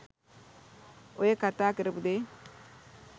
ඔය කතා කරපු දේ